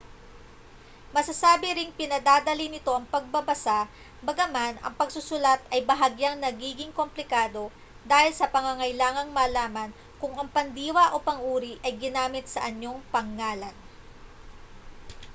masasabi ring pinadadali nito ang pagbabasa bagaman ang pagsusulat ay bahagyang nagiging komplikado dahil sa pangangailangang malaman kung ang pandiwa o pang-uri ay ginamit sa anyong pangngalan